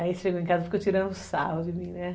Aí chegou em casa e ficou tirando sarro de mim, né?